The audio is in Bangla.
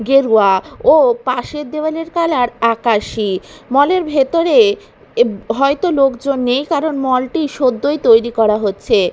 গেরুয়া ও পাশের দেওয়ালের কালার আকাশি মল -এর ভেতরে এব হয়তো লোকজন নেই কারণ মল -টি সদ্যই তৈরি করা হচ্ছে।